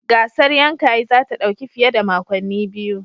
Gasar Yankayi za ta dauki fiye da makonni biyu